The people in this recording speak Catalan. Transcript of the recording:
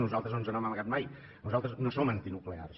nosaltres no ens n’hem amagat mai nosaltres no som antinuclears